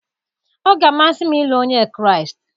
Ọ ga-amasị m ịlụ Onye Kraịst.